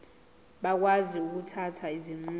bakwazi ukuthatha izinqumo